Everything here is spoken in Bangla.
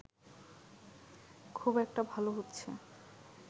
খুব একটা ভাল হচ্ছে